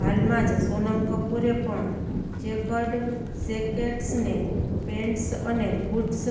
હાલમાં જ સોનમ કપૂરે પણ ચેકર્ડ શેકેટ્સને પેન્ટ્સ અને બૂટ્સ